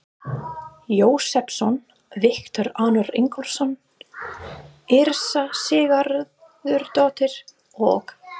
Jósepsson, Viktor Arnar Ingólfsson, Yrsa Sigurðardóttir og